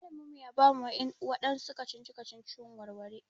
Malamin mu ya bamu waɗansu kacici-kacici mu warware.